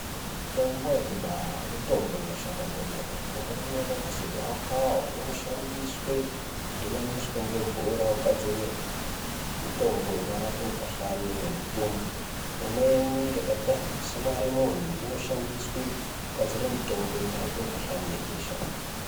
Mitombo yekudhaya mitombo inoshanda kwemene imweni yakaita segava kava inoshandiswa kudhubanisa nemvura kugadzira mutombo unorapa mukuhlani wemutumbu imweni yakaita semaremoni inoshandenkugadzira mitombo kurapa mikuhlani webesha.